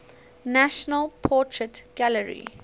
national portrait gallery